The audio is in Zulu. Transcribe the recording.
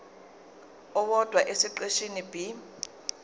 owodwa esiqeshini b